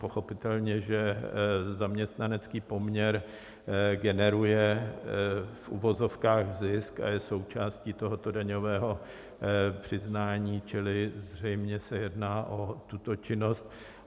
Pochopitelně že zaměstnanecký poměr generuje v uvozovkách zisk a je součástí tohoto daňového přiznání, čili zřejmě se jedná o tuto činnost.